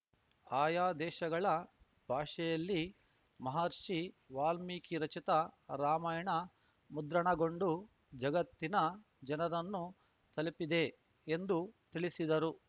ಆಯಾ ದೇಶಗಳ ಭಾಷೆಯಲ್ಲಿ ಮಹರ್ಷಿ ವಾಲ್ಮೀಕಿ ರಚಿತ ರಾಮಾಯಣ ಮುದ್ರಣಗೊಂಡು ಜಗತ್ತಿನ ಜನರನ್ನು ತಲುಪಿದೆ ಎಂದು ತಿಳಿಸಿದರು